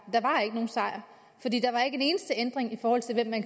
der var ikke nogen sejr for der var ikke en eneste ændring i forhold til hvem man